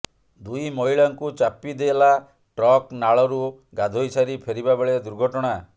ଦୁଇ ମହିଳାଙ୍କୁ ଚାପିଦେଲା ଟ୍ରକ୍ ନାଳରୁ ଗାଧୋଇସାରି ଫେରିବା ବେଳେ ଦୁର୍ଘଟଣା